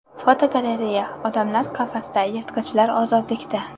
Fotogalereya: Odamlar qafasda, yirtqichlar ozodlikda.